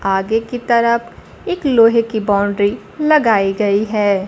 आगे की तरफ एक लोहे की बाउंड्री लगाई गई है।